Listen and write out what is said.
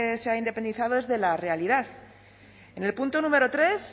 se ha independizado es de la realidad en el punto número tres